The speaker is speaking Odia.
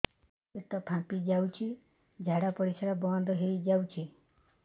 ପେଟ ଫାମ୍ପି ଯାଉଛି ଝାଡା ପରିଶ୍ରା ବନ୍ଦ ହେଇ ଯାଉଛି